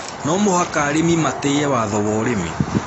No mũhaka arĩmi matĩĩe watho wa ũrĩmi